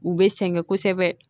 U bɛ sɛgɛn kosɛbɛ